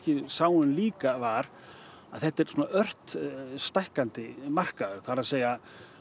sáum líka var að þetta er ört stækkandi markaður það er